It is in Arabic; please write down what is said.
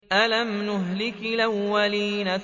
أَلَمْ نُهْلِكِ الْأَوَّلِينَ